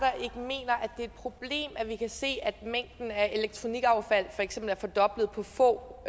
et problem at vi kan se at mængden af elektronikaffald er fordoblet på få